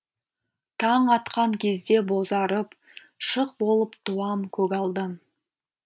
таң атқан кезде бозарып шық болып туам көгалдан